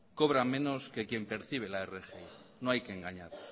cobra menos que quien percibe la rgi no hay que engañar